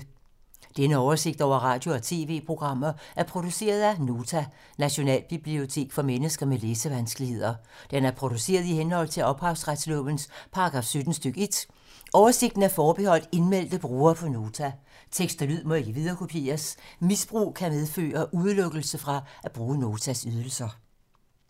Denne oversigt over radio og TV-programmer er produceret af Nota, Nationalbibliotek for mennesker med læsevanskeligheder. Den er produceret i henhold til ophavsretslovens paragraf 17 stk. 1. Oversigten er forbeholdt indmeldte brugere på Nota. Tekst og lyd må ikke viderekopieres. Misbrug kan medføre udelukkelse fra at bruge Notas ydelser.